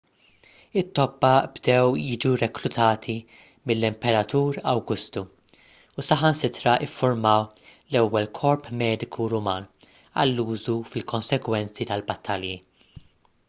it-tobba bdew jiġu reklutati mill-imperatur awgustu u saħansitra ffurmaw l-ewwel korp mediku ruman għal użu fil-konsegwenzi tal-battalji